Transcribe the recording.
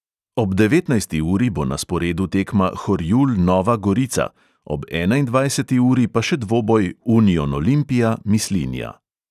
Ob devetnajsti uri bo na sporedu tekma horjul – nova gorica, ob enaindvajseti uri pa še dvoboj union olimpija – mislinja.